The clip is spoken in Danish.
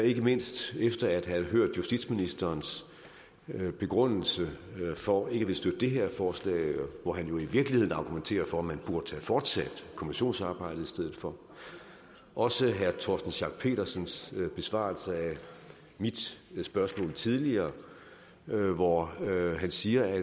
ikke mindst efter at have hørt justitsministerens begrundelse for ikke at ville støtte det her forslag hvor han jo i virkeligheden argumenterer for at man burde have fortsat kommissionsarbejdet i stedet for og også herre torsten schack pedersens besvarelse af mit spørgsmål tidligere hvor han siger at